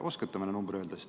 Kas oskate meile öelda?